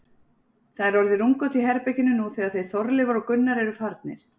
Það er orðið rúmgott í herberginu, nú þegar þeir Þorleifur og Gunnar eru farnir.